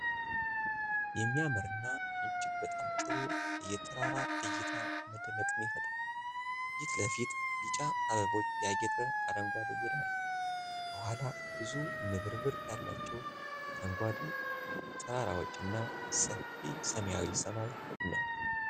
የሚያምርና እጅግ በጣም ጥሩ የተራራ እይታ መደነቅን ይፈጥራል። ፊት ለፊት ቢጫ አበቦች ያጌጠ አረንጓዴ ሜዳ አለ። ከኋላ ብዙ ንብርብር ያላቸው አረንጓዴ ተራራዎችና ሰፊ ሰማያዊ ሰማይ ነው።